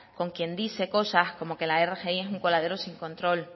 con quien dice cosas como que la rgi es un coladero sin control